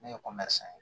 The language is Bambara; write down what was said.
Ne ye san ye